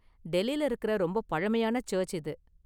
டெல்லில இருக்கற ரொம்ப பழமையான சர்ச்சு இது.